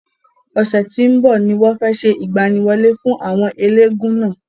Ọ̀sẹ̀ tí ó ń bọ̀ ni wọ́n fe se ìgbaniwọlé fún àwọn elégún náà.